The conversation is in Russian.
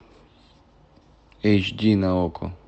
эйч ди на окко